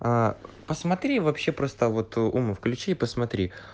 а посмотри вообще просто вот ума включи посмотри